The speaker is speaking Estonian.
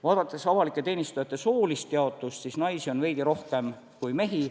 Vaadates avalike teenistujate soolist jaotust, siis naisi on veidi rohkem kui mehi.